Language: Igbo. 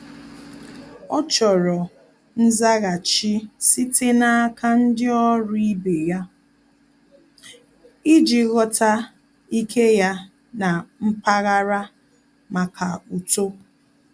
Ọ́ chọ́rọ́ nzaghachi site n’áká ndị ọ́rụ́ ibe ya iji ghọ́tá ike ya na mpaghara màkà uto.